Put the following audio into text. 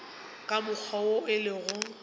ka mokgwa wo e lego